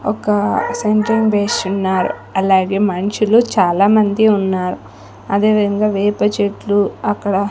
ఒక సెంట్రింగ్ వేసున్నారు అలాగే మనుషులు చాలామంది ఉన్నారు అదేవిధంగా వేప చెట్లు అక్కడ--